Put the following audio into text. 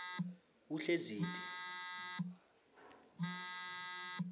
uhleziphi